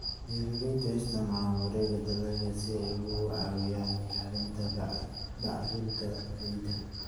Beeraleydu waxay isticmaalaan wareegga dalagga si ay uga caawiyaan ilaalinta bacrinta ciidda.